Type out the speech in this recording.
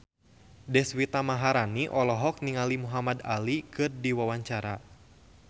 Deswita Maharani olohok ningali Muhamad Ali keur diwawancara